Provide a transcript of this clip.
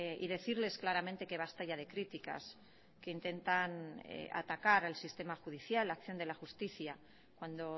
y decirles claramente que basta ya de críticas que intentan atacar al sistema judicial la acción de la justicia cuando